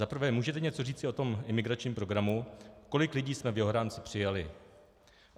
Za prvé: Můžete něco říci o tom imigračním programu, kolik lidí jsme v jeho rámci přijali?